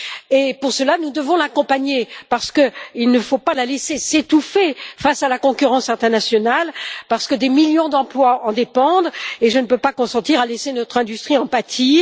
C'est pourquoi nous devons l'accompagner, parce qu'il ne faut pas la laisser s'étouffer face à la concurrence internationale et que des millions d'emplois en dépendent, et je ne peux pas consentir à laisser notre industrie en pâtir.